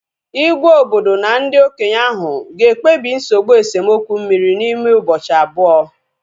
Igwe obodo na ndị okenye ahu ga ekpebi nsogbụ esemokwu mmiri n'ime ụbọchị abụọ